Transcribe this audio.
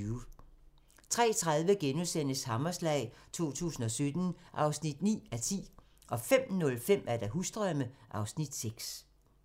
03:30: Hammerslag 2017 (9:10)* 05:05: Husdrømme (Afs. 6)